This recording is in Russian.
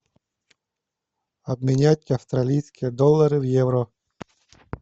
обменять австралийские доллары в евро